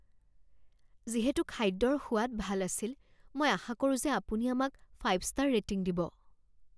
যিহেতু খাদ্যৰ সোৱাদ ভাল আছিল মই আশা কৰোঁ যে আপুনি আমাক ফাইভ ষ্টাৰ ৰেটিং দিব